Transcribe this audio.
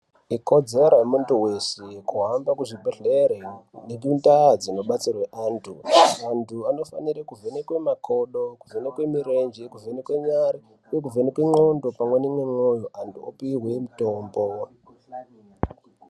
Ikodzero yemundu weshe kuhamba kuzvibhedhlera nekundaa dzinobatsirwe antu , antu anofanire kuvhenekwe makodo kuvhenekwe mirenje kuvhenekwe ndxondopamwe neminyolo antu opiwa mitombo.